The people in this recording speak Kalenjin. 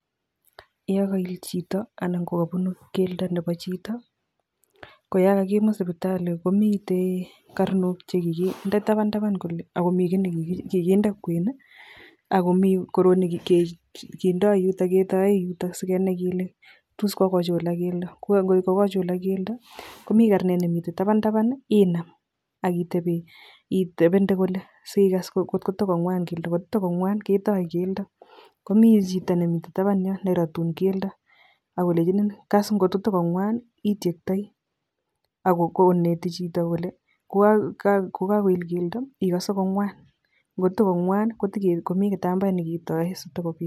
Yon kaiil chito anan ko kapunuuk keldo nebo chito, ko yon kakimut sipitali komitei karnok che kikinde taban taban kole akomi kiiy nekikinde kwen ako mi korrot nekindoo neketai yuto sikenai kele tos kokochulak keldo. Ngokokochulak keldo komitei karnet ne mitei taban taban inam ak itepe ak ikitepende sikaas ngotko toko ngwan keldo, kot ko toko ngwan ketae keldo ,komi chito taban yo neratun keldo ak kolechin kaas ko kotoko ngwan itiektoi ak koneti chito kole kokakoil keldo ikaase ko ngwan, ngotko toko ngwa komi kitambaet nekitae sitokopit.